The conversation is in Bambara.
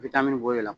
Bitamini bɔr'o la